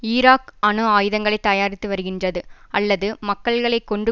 Iraq அணு ஆயுதங்களை தயாரித்து வருகின்றது அல்லது மக்களை கொன்று